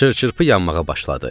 Çır-çırpı yanmağa başladı.